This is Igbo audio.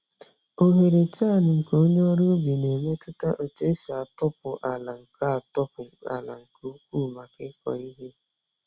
Oghere tine nke onye ọrụ ubi na-emetụta etu esi atọpụ ala nke atọpụ ala nke ukwuu maka ịkọ ihe.